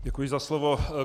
Děkuji za slovo.